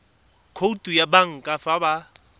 khoutu ya banka fa ba